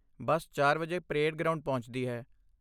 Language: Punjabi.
ਬੱਸ ਚਾਰ ਵਜੇ ਪਰੇਡ ਗਰਾਉਂਡ ਪਹੁੰਚਦੀ ਹੈ